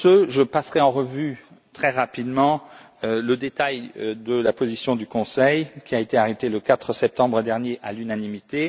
Je passerai en revue très rapidement le détail de la position du Conseil, qui a été arrêtée le 4 septembre dernier à l'unanimité.